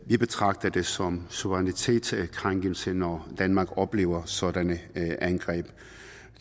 vi betragter det som suverænitetskrænkelse når danmark oplever sådanne angreb